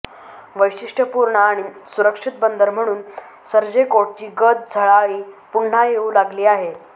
वैशिष्टय़पूर्ण आणि सुरक्षित बंदर म्हणून सर्जेकोटची गत झळाळी पुन्हा येऊ लागली आहे